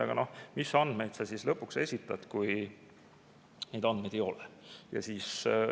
Aga mis andmeid sa siis lõpuks esitad, kui andmeid ei ole?